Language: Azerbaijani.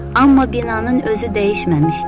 Amma binanın özü dəyişməmişdi.